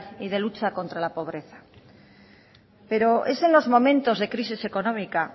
y de lucha contra la pobreza pero en es en los momentos de crisis económica